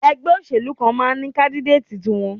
Ẹgbẹ́ òṣèlú kan máa ní káńdídéètì wọn.